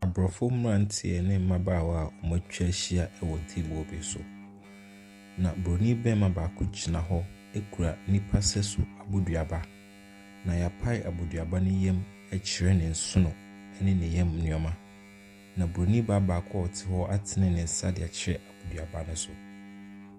Aborɔfo mmranteɛ ne mmabaawa a wɔatwa ahyia wɔ table bi so. Na buroni barima baako gyina hɔ kura nnipa sɛso aboduaba. Na yɛapae aboduaba no yam akyerɛ ne nsono ne ne yɛm nneɛma. Na buroni baa baako a ɔte hɔ atene ne nsa baako de akyerɛ aboduaba no so.